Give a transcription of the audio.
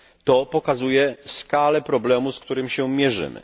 To pokazuje skalę problemu, z którym się mierzymy.